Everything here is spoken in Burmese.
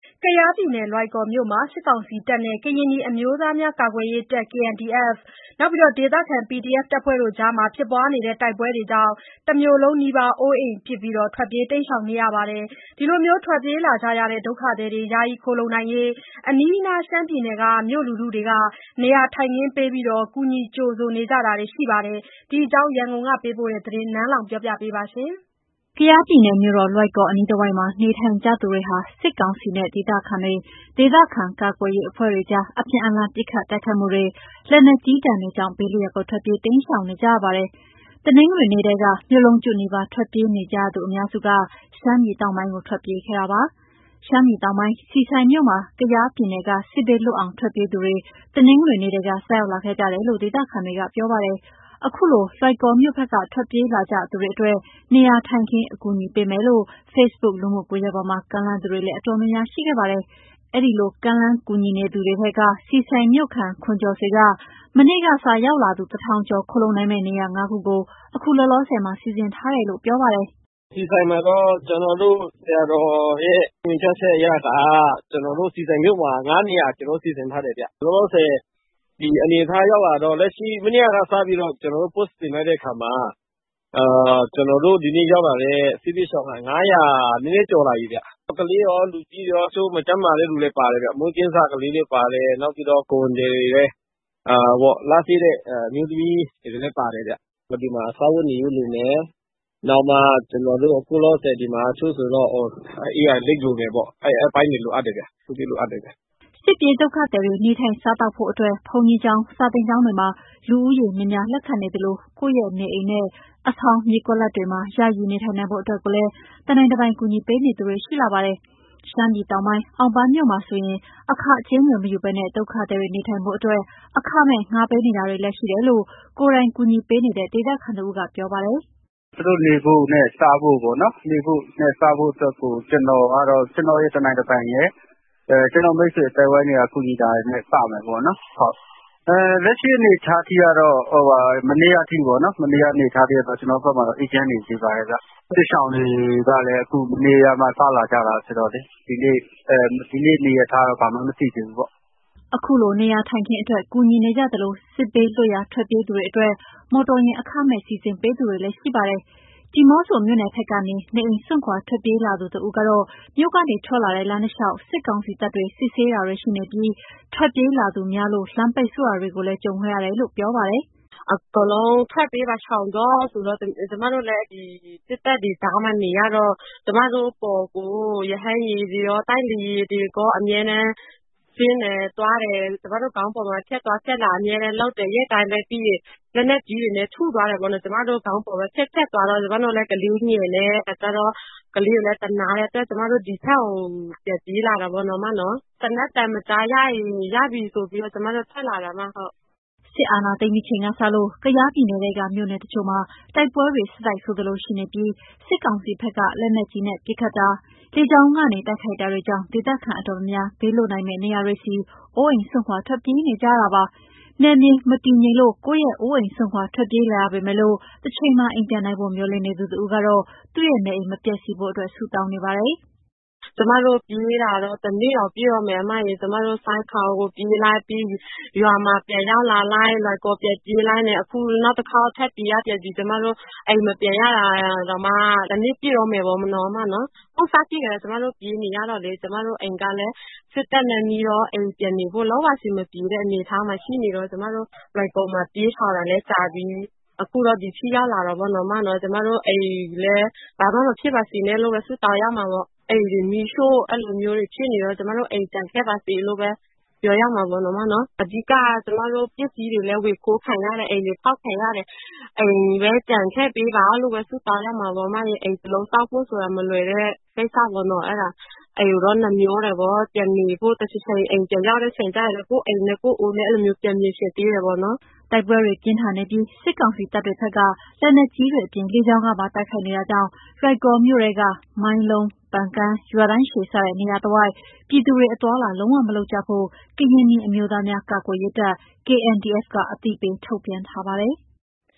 ကယားပြည်နယ်၊ လွိုင်ကော်မြို့မှာ စစ်ကောင်စီတပ်နဲ့ ကရင်နီအမျိုးသားများ ကာကွယ်ရေးတပ် KNDF ၊ ဒေသခံ PDF အဖွဲ့တွေကြား ဖြစ်နေတဲ့ တိုက်ပွဲတွေကြောင့် တမြို့လုံးနီးပါး အိုးအိမ်ပစ် ထွက်ပြေးနေကြပါတယ်။ ခုလိုထွက်ပြေးနေကြရတဲ့ ဒုက္ခသည်တွေ ယာယီခိုလှုံနိုင်ဖို့ အနီးအနား ရှမ်းပြည်နယ် မြို့လူထုတွေက နေရာထိုင်ခင်းပေး ကူညီကြိုဆိုတာတွေလည်းရှိပါတယ်။ ဒီအကြောင်း ရန်ကုန်က သတင်းပေးပို့ထားတာကို နန်းလောဝ်က တင်ပြပါတယ်။ ကယားပြည်နယ်မြို့တော် လွိုင်ကော်အနီးတဝိုက်မှာ နေထိုင်နေကြသူတွေဟာ စစ်ကောင်စီနဲ့ ဒေသခံတွေဟာ ဒေသခံကာကွယ်ရေးအဖွဲ့တွေကြား အပြန်အလှန် ပစ်ခတ် တိုက်ခိုက်မှုတွေ၊ လက်နက်ကြီးဒဏ်တွေကြောင့် ဘေးလွတ်ရာကို ထွက်ပြေးတိမ်းရှောင်နေကြရပါတယ်။ တနင်္ဂနွေနေ့ကတည်းက မြို့လုံးကျွတ်နီးပါး ထွက်ပြေးနေကြသူအများစုက ရှမ်းပြည်တောင်ပိုင်းကို ထွက်ပြေးခဲ့ကြပါတယ်။ ရှမ်းပြည်နယ်တောင်ပိုင်း၊ ဆီဆိုင်မြို့မှာ ကယားပြည်နယ်က စစ်ဘေးလွတ်အောင် ထွက်ပြေးသူတွေ တနင်္ဂနွေနေ့ထဲက စရောက်လာခဲ့ကြတယ်လို့ ဒေသခံတွေက ပြောပါတယ်။ ခုလိုလွိုင်ကော်မြို့ ဘက်က ထွက်ပြေးလာကြသူတွေအတွက် နေရာထိုင်ခင်း အကူအညီပေးမယ်လို့ Facebook လူမှုကွန်ယက်ပေါ်မှာ ကမ်းလှမ်းသူတွေလည်း တော်တော်များများရှိခဲ့ပါတယ်။ အဲဒီလို ကမ်းလှမ်းကူညီနေသူတွေထဲက ဆီဆိုင်မြို့ခံ ခွန်ကျော်ဆွေက မနေ့က စ ရောက်လာသူ လူ ၁,၀၀၀ ကျော် ခိုလှုံနိုင်မယ့် နေရာ ၅ ခု ကို အခုလောလောဆယ်မှာ စီစဉ်ထားတယ်လို့ ပြောပါတယ်။ "ဆီဆိုင်မှာတော့ ကျနော်တို့ဆရာတော်ရဲ့ ညွှန်ကြားချက်အရက ၅ နေရာ စီစဉ် ထားတယ်ဗျ။ လောလောဆယ် ဒီအနေအထားရောက်လာတော့ မနေ့ကစပြီးတော့ ကျနော်တို့ Post တင်လိုက်တဲ့အခါမှာ ဒီနေ့ရောက်လာတဲ့စစ်ဘေးရှောင်က ၅၀၀ နည်းနည်းကျော်လာပြီဗျ။ ကလေးရော၊ လူကြီးရော၊ တချို့ မကျန်းမာတဲ့လူတွေလည်း ပါတယ်ဗျ။ မွေးကင်းစကလေးလည်း ပါတယ်။ နောက်ပြီးတော့ ကိုယ်ဝန်သည်တွေ လစေ့တဲ့အမျိုးသမီးတွေလည်း ပါတယ်ဗျ။ ဒီမှာက စားဝတ်နေရေးလိုမယ်။ နောက် အိပ်ယာလိတ်လိုမယ်ပေါ့။ အဲဒီအပိုင်းတွေ လိုတယ်ဗျ။" စစ်ပြေးဒုက္ခသည်တွေ နေထိုင်စားသောက်ဖို့အတွက် ဘုန်းကြီးကျောင်း၊ စာသင် ကျောင်းတွေမှာ လူဦးရေများများ လက်ခံနေသလို၊ ကိုယ့်ရဲ့နေအိမ်နဲ့ အဆောင်၊ မြေကွက်လပ်တွေမှာ ယာယီနေထိုင်နိုင်ဖို့အတွက်ကိုလည်း တနိုင်တပိုင် ကူညီပေးနေသူတွေ ရှိလာပါတယ်။ ရှမ်းပြည်နယ်တောင်ပိုင်း၊ အောင်ပန်းမြို့မှာဆိုရင် အခကြေးငွေမယူဘဲ ဒုက္ခသည်တွေ နေထိုင်ဖို့အတွက် အခမဲ့ငှားပေးနေတာတွေလည်း ရှိတယ်လို့ ကိုယ်တိုင်ကူညီပေးနေတဲ့ ဒေသခံတဦးကပြောပါတယ်။ "သူတို့နေဖို့နဲ့ စားဖို့အတွက်ကို ကျနော့်ရဲ့ တနိုင်တပိုင်ရယ်၊ ကျနော့်မိတ်ဆွေ အသိုင်းအဝိုင်းတွေက ကူညီတာတွေနဲ့ စမယ်ပေါ့နော်။ လက်ရှိအနေအထားကတော့ မနေ့က ထိ ကျနော်တို့ဘက်မှာ အေးချမ်းနေပါတယ်။ စစ်ရှောင်တွေကလည်း အခု မနေ့ကမှ စလာကြတာဆိုတော့လေ။ ဒီနေ့အနေအထားကတော့ ဘာမှန်းမသိသေးဘူးပေါ့။" ခုလိုနေရာထိုင်ခင်းအတွက် ကူညီနေကြသလို စစ်ဘေးလွတ်ရာ ထွက်ပြေးသူတွေအတွက် မော်တော်ယာဉ်အခမဲ့ စီစဉ်ပေးသူတွေလည်း ရှိနေပါတယ်။ ဒီးမော့ဆိုမြို့နယ်ဘက်ကနေ နေအိမ်စွန့်ခွာထွက်ပြေးလာသူ တဦးကတော့ မြို့ကနေထွက်လာတဲ့ လမ်းတလျှောက် စစ်ကောင်စီတပ်တွေ စစ်ဆေးတာတွေရှိနေပြီး ထွက်ပြေးလာသူများလို့ လမ်းပိတ်ဆို့တာတွေလည်း ကြုံခဲ့ရတယ်လို့ ပြောပါတယ်။ "အကုန်လုံးထွက်ပြေးပါ၊ ရှောင်တော့ဆိုတော့ ကျမတို့လည်း ဒီစစ်တပ်တွေကြားမှာနေရတော့ ကျမတို့အပေါ်ကို ရဟတ်ယာဉ်တွေကော၊ တိုက်လေယာဉ်တွေကော အမြဲတမ်းဆင်းတယ်၊ သွားတယ်။ ကျမတို့ခေါင်းပေါ်မှာ နေ့တိုင်းပဲ ဖြတ်သွားဖြတ်လာလုပ်တယ်။ ပြီးရင် လက်နက်ကြီးတွေလည်း ထုတာပေါ့။ ကျမတို့ခေါင်းပေါ်ပဲ ဖြတ်သွားတော့ ကျမတို့လည်း ကလေးငယ်နဲ့ဆိုတော့ ကလေးကိုလည်းသနားတဲ့အတွက် ဒီဘက်ကိုပြန်ပြေးလာတာပေါ့နော်။ သေနတ်သံမကြားရရင် ရပြီဆိုပြီးတော့ ကျမတို့ထွက်လာတာပါ။" စစ်အာဏာသိမ်းပြီးချိန်ကစလို့ ကယားပြည်နယ်ထဲက မြို့နယ်တချို့မှာ တိုက်ပွဲတွေဆက်တိုက်ဆိုသလို ရှိနေပြီး စစ်ကောင်စီဘက်က လက်နက်ကြီးပစ်ခတ်တာ၊ လေကြောင်းကနေ တိုက်ခိုက်တာတွေကြောင့် ဒေသခံတော်တော်များများ ဘေးလွတ်နိုင်မယ့်နေရာတွေဆီ အိုးအိမ်စွန့်ခွာ ထွက်ပြေးနေရတာပါ။ နယ်မြေမတည်ငြိမ်လို့ ကိုယ့်ရဲ့အိုးအိမ်စွန့်ခွာ ထွက်ပြေးလာရပေမယ့် တချိန်မှာ အိမ်ပြန်နိုင်ဖို့ကို မျှော်လင့်နေသူတဦးကတော့ သူ့ရဲ့နေအိမ် မပျက်စီးဖို့အတွက် ဆုတောင်းနေပါတယ်။ "ကျမတို့ပြေးနေရတာ တနှစ်တောင်ပြည့်တော့မယ်။ ကျမတို့ ဆိုက်ခေါင်ကိုပြေးလိုက် ပြီးရင် ရွာမှာပြန်ရောက်လာလိုက် လွိုင်ကော်ပြန်ပြေးလိုက်နဲ့ အခုနောက်တခေါက် ထပ်ပြေးရပြန်ပြီ။ ကျမတို့ အိမ်မပြန်ရတာ ဟိုးစဖြစ်ကတည်းက ကျမတို့ပြေးနေရတော့လေ တနှစ်ပြည့်တော့မယ်။ ကျမတို့အိမ်ကလည်း စစ်တပ်နဲ့နီးတော့ လုံးဝပြန်နေမရတဲ့အနေအထားမှာ ရှိနေတော့ ကျမတို့ လွိုင်ကော်မှာပြေးရှောင်တာလည်း ကြာပြီ။ အခု ဒီထိရောက်လာတာပေါ့နော်။ ကျမတို့အိမ်လည်း ဘာမှမဖြစ်ပါစေနဲ့လို့ ဆုတောင်းရမှာပေါ့။ အိမ်တွေမီးရှို့တာတွေ ဖြစ်နေတော့ ကျမတို့အိမ်တွေကျန်ခဲ့ပါစေလို့ပဲ မျှော်ရမှာပေါ့နော်။ အဓိကက ကျမတို့ပစ္စည်းတွေ ဝင်ခိုးခံရတယ်၊ အိမ်တွေဖောက်ခံရတယ်။ အိမ်ပဲကျန်ခဲ့ပေးပါလို့ပဲ ဆုတောင်းရမှာပေါ့။ အိမ်တလုံးဆောက်ဖို့ဆိုတာ မလွယ်တဲ့ကိစ္စပေါ့။ အဲဒါ အိမ်ကိုတော့ နှမြောတယ်ပေါ့။ တချိန်ချိန်အိမ်ပြန်ရောက်တဲ့ အချိန်ကျရင် ကိုယ့်အိမ်နဲ့ ကိုယ့်အိုးနဲ့ အဲလိုပြန်မြင်ချင်သေးတယ်ပေါ့နော်။" တိုက်ပွဲတွေပြင်းထန်နေပြီး စစ်ကောင်စီတပ်တွေဘက်က လက်နက်ကြီးတွေအပြင် လေကြောင်းကနေပါ တိုက်ခိုက်နေတဲ့အတွက် လွိုင်ကော်မြို့ ထဲက မိုင်းလုံး၊ ပန်ကန်း၊ ရွာတန်းရှည်စတဲ့ နေရာတွေတဝိုက် ပြည်သူတွ အသွားအလာ လုံးဝမလုပ်ကြဖို့ကို ကရင်နီအမျိုးသားများ ကာကွယ်ရေးတပ် KNDF က အသိပေးထုတ်ပြန်ထားပါတယ်။